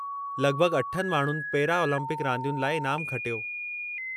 लॻिभॻि अठनि माण्हुनि पेरा ओलम्पिक रांदियुनि लाइ इनामु खटियो।